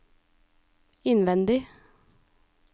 innvendig